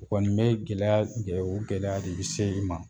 U kɔni bɛ gɛlɛya u gɛlɛya de bɛ se i ma